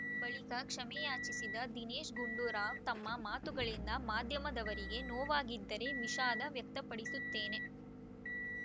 ಬಳಿಕ ಕ್ಷಮೆಯಾಚಿಸಿದ ದಿನೇಶ್‌ ಗುಂಡೂರಾವ್‌ ತಮ್ಮ ಮಾತುಗಳಿಂದ ಮಾಧ್ಯಮದವರಿಗೆ ನೋವಾಗಿದ್ದರೆ ವಿಷಾದ ವ್ಯಕ್ತಪಡಿಸುತ್ತೇನೆ